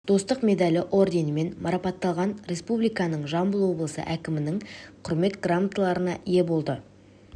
достық медалі орденімен марапатталған республиканың жамбыл облысы әкімінің құрмет грамоталарына ие болды.